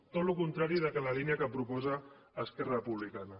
tot el contrari de la línia que proposa esquerra republicana